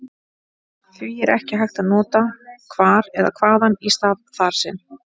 Því er ekki hægt að nota hvar eða hvaðan í stað þar sem.